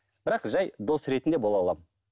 бірақ жай дос ретінде бола аламын